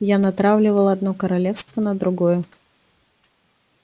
я натравливал одно королевство на другое